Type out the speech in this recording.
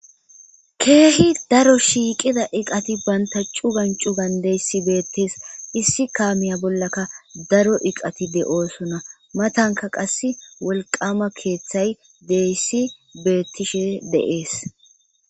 keehi daro shiiqida iqati bantachu gancu gandeyssi beettees issi kaamiya bollaka daro iqatide7oosona matanka qass wolqama keeththay deyssi beettishe deees